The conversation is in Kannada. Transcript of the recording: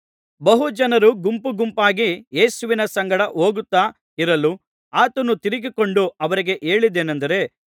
ಬಹು ಜನರು ಗುಂಪುಗುಂಪಾಗಿ ಯೇಸುವಿನ ಸಂಗಡ ಹೋಗುತ್ತಾ ಇರಲು ಆತನು ತಿರುಗಿಕೊಂಡು ಅವರಿಗೆ ಹೇಳಿದ್ದೇನಂದರೆ